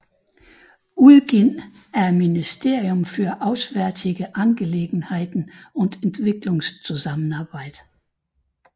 Udgivet at Ministerium für Auswärtige Angelegenheiten und Entwicklungszusammenarbeit